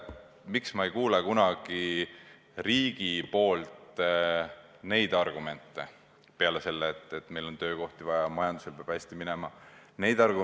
Miks me ei kuule kunagi riigi esindajatelt muid argumente peale selle, et meil on töökohti vaja, et majandusel peab hästi minema?